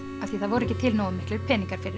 af því það voru ekki til nógu miklir peningar fyrir